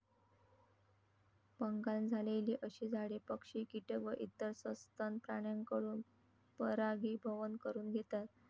पंगाल झालेली अशी झाडे पक्षी, किटक व इतर सस्तन प्राण्यांकडून परागीभवन करून घेतात.